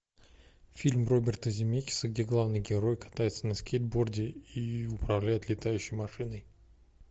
фильм роберта земекиса где главный герой катается на скейтборде и управляет летающей машиной